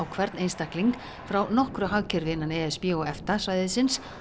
hvern einstakling frá nokkru hagkerfi innan e s b og EFTA svæðisins